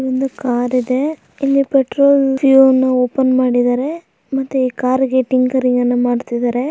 ಒಂದು ಕಾರು ಇದೆ ಇಲ್ಲಿ ಪೆಟ್ರೋಲ್ ಫ್ಯೂ ಅನ್ನು ಓಪನ್ ಮಾಡಿದರೆ. ಮತ್ತೆ ಈ ಕಾರಿಗೆ ಟಿಂಗರಿಂಗ್ ಅನ್ನ ಮಾಡ್ತಿದಾರೆ.